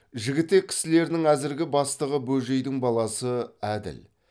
жігітек кісілерінің әзіргі бастығы бөжейдің баласы әділ